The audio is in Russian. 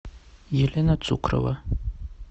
елена цукрова